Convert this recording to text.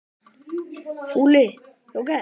Fúli jóker.